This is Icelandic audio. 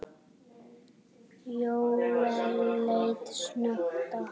Jóel leit snöggt á hana.